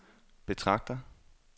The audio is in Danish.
betragter